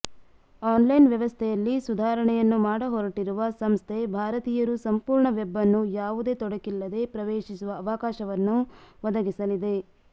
online ವ್ಯವಸ್ಥೆಯಲ್ಲಿ ಸುಧಾರಣೆಯನ್ನು ಮಾಡಹೊರಟಿರುವ ಸಂಸ್ಥೆ ಭಾರತೀಯರು ಸಂಪೂರ್ಣ ವೆಬ್ ಅನ್ನು ಯಾವುದೇ ತೊಡಕಿಲ್ಲದೆ ಪ್ರವೇಶಿಸುವ ಅವಕಾಶವನ್ನು ಒದಗಿಸಲಿದೆ